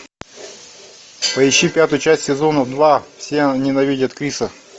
поищи пятую часть сезона два все ненавидят криса